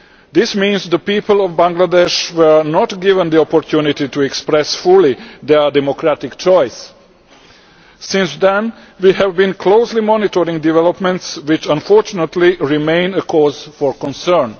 This means that the people of Bangladesh were not given the opportunity to express fully their democratic choices. Since then we have been closely monitoring developments, which unfortunately remain a cause for concern.